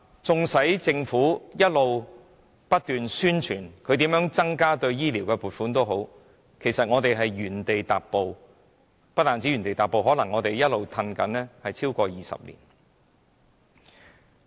縱使本港政府不斷聲稱增加醫療方面的撥款，但其實一直也在原地踏步，甚至可能是一直倒退超過20年。